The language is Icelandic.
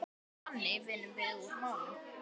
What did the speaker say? Þannig vinnum við úr málunum